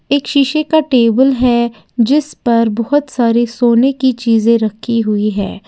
एक शीशे का टेबल है जिसपर बहुत सारे सोने की चीजे रखी हुई है।